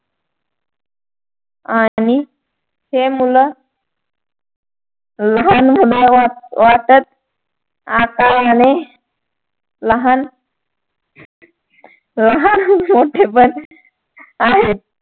आणि हे मुल वाटत आकाराने लहान लहान मोठे पण आहेत